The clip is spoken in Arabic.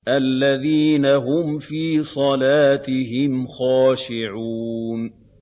الَّذِينَ هُمْ فِي صَلَاتِهِمْ خَاشِعُونَ